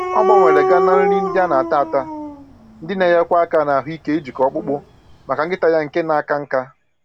Ọ gbanwere ga na nri ndị ana-ata ata, ndị na-enyekwa aka na ahụike njikọ ọkpụkpụ, maka nkịta ya nke na aka nká